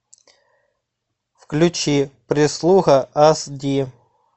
включи прислуга ас ди